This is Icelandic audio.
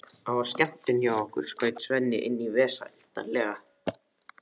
Það var skemmtun hjá okkur, skaut Svenni inn í vesældarlega.